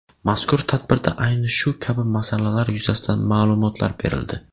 Mazkur tadbirda ayni shu kabi masalalar yuzasidan ma’lumotlar berildi.